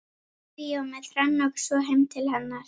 Fór í bíó með Hrönn og svo heim til hennar.